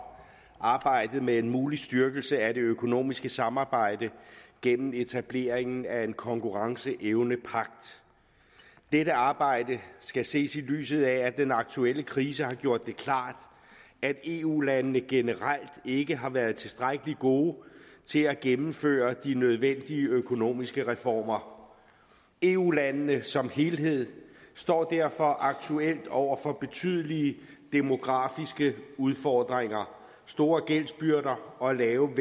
arbejdet med en mulig styrkelse af det økonomiske samarbejde gennem etableringen af en konkurrenceevnepagt dette arbejde skal ses i lyset af at den aktuelle krise har gjort det klart at eu landene generelt ikke har været tilstrækkelig gode til at gennemføre de nødvendige økonomiske reformer eu landene som helhed står derfor aktuelt over for betydelige demografiske udfordringer store gældsbyrder og lave